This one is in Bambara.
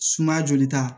Sumaya jolita